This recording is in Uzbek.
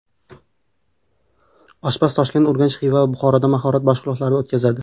Oshpaz Toshkent, Urganch, Xiva va Buxoroda mahorat mashg‘ulotlari o‘tkazadi.